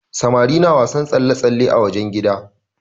Samari na wasan tsalle-tsalle a wajen gida.